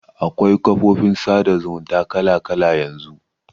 Akwai kafofin sada zumunta kala kala yanzu.